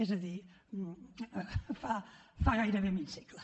és a dir fa gairebé mig segle